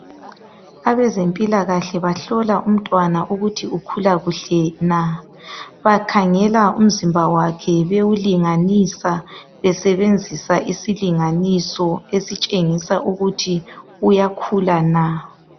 Abezempilakahle bahlola umntwana ukuthi ukhula kuhle na. Bakhangela umzimba wakhe bewulinganisa, besebenzisa isilinganiso esitshengisa ukuthi uyakhula na.